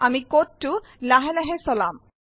আমি কোডটো লাহে লাহে চলাম